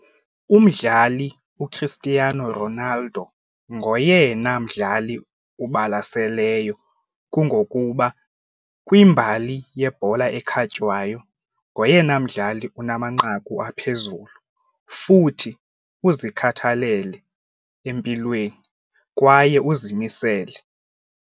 Umdlali uChristiano Ronaldo ngoyena mdlali ubalaseleyo kungokuba kwimbali yebhola ekhatywayo ngoyena mdlali unamanqaku aphezulu futhi uzikhathalele empilweni kwaye uzimisele.